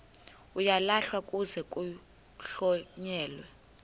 uyalahlwa kuze kuhlonyelwe